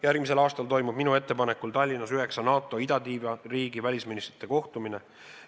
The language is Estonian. Järgmisel aastal toimub minu ettepanekul Tallinnas üheksa NATO idatiiva riigi välisministrite kohtumine.